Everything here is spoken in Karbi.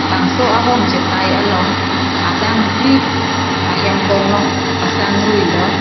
bangso ahong chetai along adang phli ahem konglong pasang ruilo.